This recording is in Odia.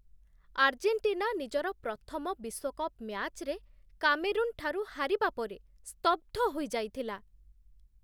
ଆର୍ଜେଣ୍ଟିନା ନିଜର ପ୍ରଥମ ବିଶ୍ୱକପ୍ ମ୍ୟାଚ୍‌ରେ କାମେରୁନ୍‌ଠାରୁ ହାରିବା ପରେ ସ୍ତବ୍ଧ ହୋଇଯାଇଥିଲା।